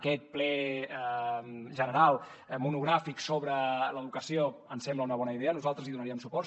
aquest ple general monogràfic sobre l’educació ens sembla una bona idea nosaltres hi donaríem suport